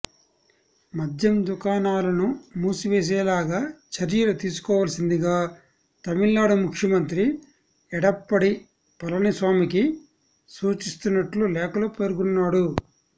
మద్యం దుకాణాలను మూసివేసేలాగా చర్యలు తీసుకోవలసిందిగా తమిళనాడు ముఖ్యమంత్రి ఎడప్పడి పళనిస్వామికి సూచిస్తున్నట్లు లేఖలో పేర్కొన్నాడు